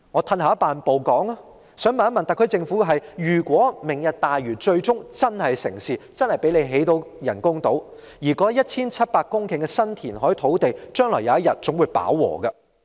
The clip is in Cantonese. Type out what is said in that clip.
退一萬步來說，我想問問特區政府，如果"明日大嶼"最終成事，可以成功興建人工島，但那 1,700 公頃的新填海土地，將來總有一天會飽和。